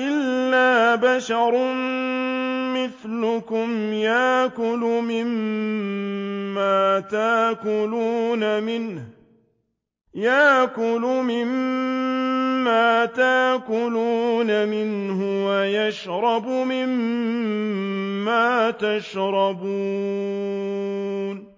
إِلَّا بَشَرٌ مِّثْلُكُمْ يَأْكُلُ مِمَّا تَأْكُلُونَ مِنْهُ وَيَشْرَبُ مِمَّا تَشْرَبُونَ